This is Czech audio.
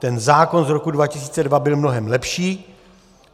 Ten zákon z roku 2002 byl mnohem lepší.